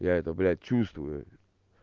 я это блядь чувствую